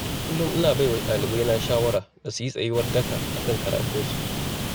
Kullum ina baiwa ɗalibaina shawara da su yi tsayuwar daka a kan karatunsu.